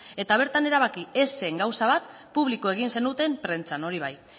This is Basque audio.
eta bertan erabaki ez zen gauza bat publiko egin zenuten prentsan hori bai